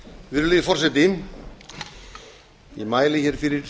virðulegi forseti ég mæli fyrir